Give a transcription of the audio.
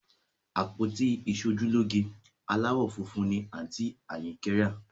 Àpótí ìṣojúlóge aláwọ̀ funfun ni àǹtí Àyìnkẹ́ rà